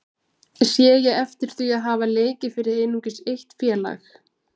Sé ég heftir því að hafa leikið fyrir einungis eitt félag?